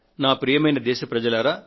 ప్రియమైన నా దేశ ప్రజలారా